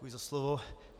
Děkuji za slovo.